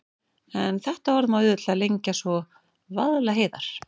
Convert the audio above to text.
En þetta orð má auðveldlega lengja svo: Vaðlaheiðar.